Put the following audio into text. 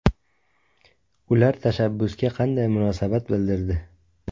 Ular tashabbusga qanday munosabat bildirdi?